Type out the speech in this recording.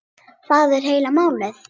Það er heila málið.